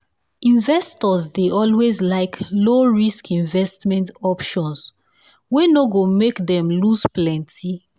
investors dey always like low-risk investment options wey no go make them loose plenty.